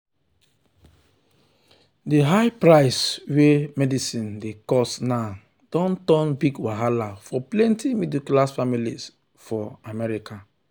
the high price wey medicine dey cost now don turn big wahala for plenty middle class families for america.